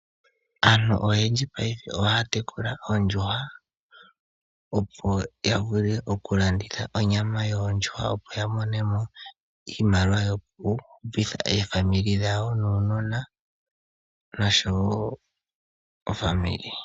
Aantu oyendji payife ohaya tekula oondjuhwa, opo ya vule okulanditha onyama ya mone mo iimaliwa yoku hupitha aakwanezimo nuunona.